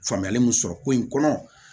Faamuyali min sɔrɔ ko in kɔnɔ